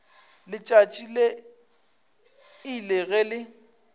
letšatši le ile ge le